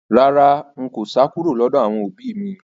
Rárá, n kò sá kúrò lọ́dọ̀ àwọn òbí mi